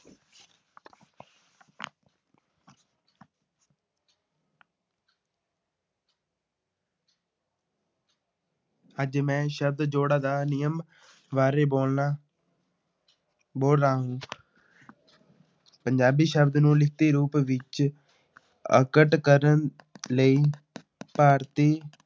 ਅੱਜ ਮੈਂ ਸ਼ਬਦ ਜੋੜਾਂ ਦਾ ਨਿਯਮ ਬਾਰੇ ਬੋਲਣਾ ਬੋਲ ਰਹਾ ਹੂੰ ਪੰਜਾਬੀ ਸ਼ਬਦ ਨੂੰ ਲਿਖਤੀ ਰੂਪ ਵਿੱਚ ਅਵਗਤ ਕਰਨ ਲਈ ਭਾਰਤੀ